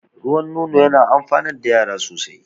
Ruwan nono yana amfanar da yara sosai